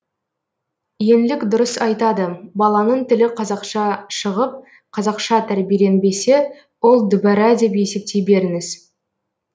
еңлік дұрыс айтады баланың тілі қазақша шығып қазақша тәрбиеленбесе ол дүбәрә деп есептей беріңіз